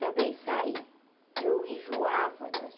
Também saí, eu enjoava das